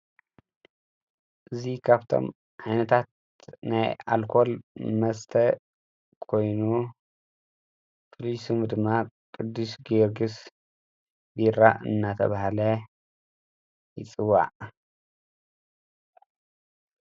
እዙይ ኻብቶም ኣይነታት ናይ ኣልኰል መስተ ኮይኑ ፍልሱሙ ድማ ቅዱሽ ጌርግስ ዲራ እናተብሃለ ይጽዋዕ።